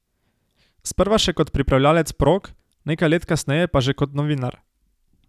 Sprva še kot pripravljalec prog, nekaj let kasneje pa že kot novinar.